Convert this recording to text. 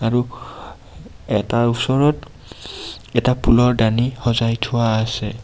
আৰু এটাৰ ওচৰত এটা ফুলৰ দানি সজাই থোৱা আছে.